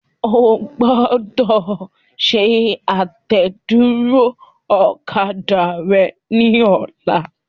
O gbọ́dọ̀ ṣe àtẹ̀dúró ọ̀kadà rẹ ní ọlá.